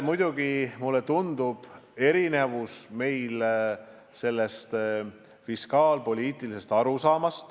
Muidugi, mulle tundub, et meil on erinev arusaam fiskaalpoliitikast.